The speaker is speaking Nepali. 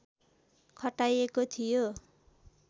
खटाइएको थियो